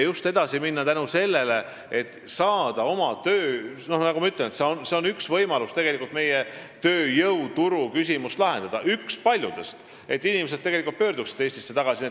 See on tegelikult üks võimalus meie tööjõuturu küsimust lahendada, et inimesed tegelikult pöörduksid Eestisse tagasi.